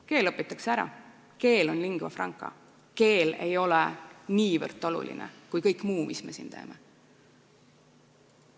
Keel õpitakse ära, keel on lingua franca, keel ei ole niivõrd oluline kui kõik muu, mis me siin teeme.